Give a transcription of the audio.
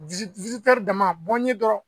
dama bɔnnen dɔrɔn